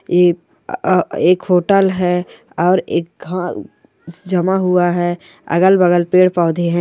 एक होटल है और एक जमा हुआ है अगल बगल पेड़ पोधे है।